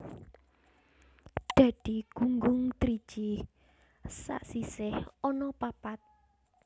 Dadi gunggung driji sasisih ana papat